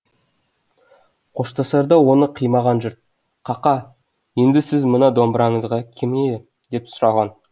қоштасарда оны қимаған жұрт қақа енді сіздің мына домбыраңызға кім ие деп сұраған